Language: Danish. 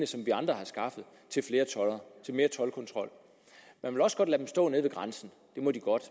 som vi andre har skaffet til flere toldere til mere toldkontrol man vil også godt lade tolderne stå ved grænsen det må de godt